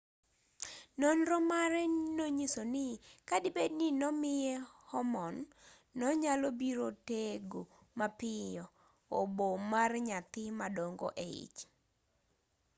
nonro mare nonyiso ni kadibed ni nomiye hormone nonyalobiro tego mapiyo obo mar nyathi madongo eich